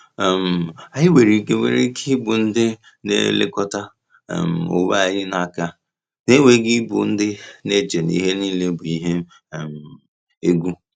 um Anyị nwere ike nwere ike ịbụ ndị na-elekọta um onwe anyị n’aka, na-enweghị ịbụ ndị na-eche ihe niile bụ ihe um egwu.